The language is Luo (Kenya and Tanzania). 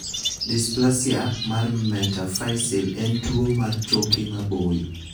Dysplasia mar metaphyseal en tuwo mar choke maboyo.